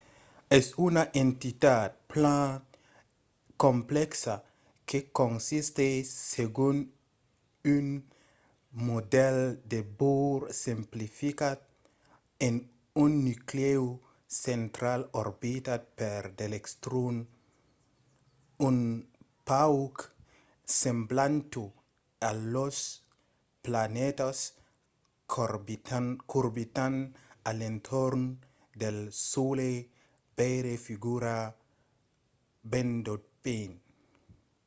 es una entitat plan complèxa que consistís segon un modèl de bohr simplificat en un nuclèu central orbitat per d’electrons un pauc semblanta a las planetas qu'orbitan a l'entorn del solelh - veire figura 1.1